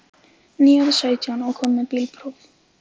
Nýorðinn sautján og kominn með bílpróf.